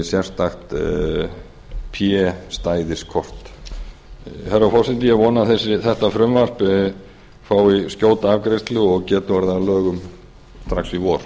sérstakt p stæðiskort herra forseti ég vona að þetta frumvarp fái skjóta afgreiðslu og geti orðið að lögum strax í vor